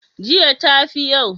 jiya ta fi yau?